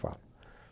falo.